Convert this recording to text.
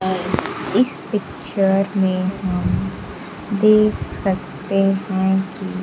इस पिक्चर में हम देख सकते है कि--